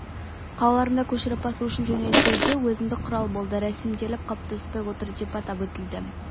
қалаларында көшіріп басу үшін жөнелтуде өзіндік құрал болды рәсімделіп қалыптаспай отыр деп атап өтілді